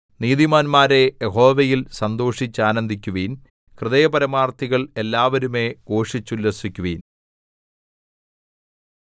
നീതിമാന്മാരേ യഹോവയിൽ സന്തോഷിച്ചാനന്ദിക്കുവിൻ ഹൃദയപരമാർത്ഥികൾ എല്ലാവരുമേ ഘോഷിച്ചുല്ലസിക്കുവിൻ